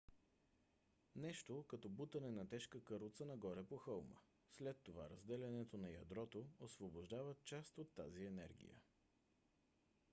нещо като бутане на тежка каруца нагоре по хълма. след това разделянето на ядрото освобождава част от тази енергия